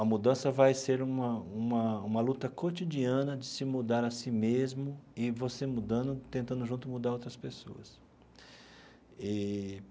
A mudança vai ser uma uma uma luta cotidiana de se mudar a si mesmo e você mudando, tentando junto mudar outras pessoas eee.